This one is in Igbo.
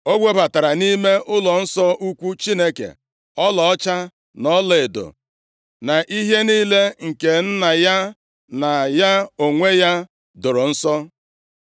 O webatara nʼime ụlọnsọ ukwu Chineke, ọlaọcha na ọlaedo na ihe niile, nke nna ya na ya onwe ya doro nsọ.